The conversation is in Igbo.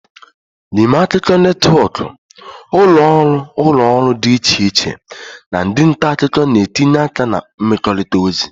N'ime akụkọ netwọkụ, ụlọ ọrụ ụlọ ọrụ dị iche iche na ndị nta akụkọ na-etinye aka na ịmekọrịta ozi